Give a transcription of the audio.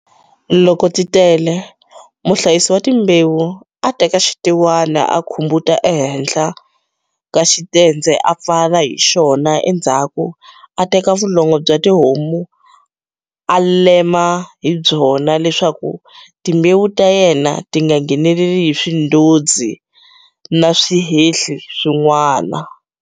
Loko ti tele, muhlayisi wa timbewu a teka xitewani a khubumeta ehenhla ka xitendze a pfala hi xona endzhaku a teka vulongo bya tihomu a lemela hi byona leswaku timbewu ta yena ti nga ngheneli hi swindodzi na swihehli swin'wana.